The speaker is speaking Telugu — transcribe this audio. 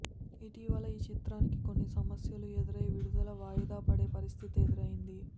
ఇటీవల ఈ చిత్రానికి కొన్ని సమస్యలు ఎదురై విడుదల వాయిదా పడే పరిస్థితి ఎదురైంది